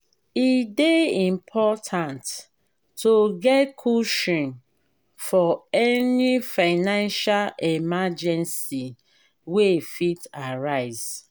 e dey important to get cushion for any financial emergency wey fit arise.